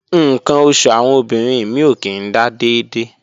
Ǹkan oṣù àwọn obìnrin mí ò kí ń dà dédé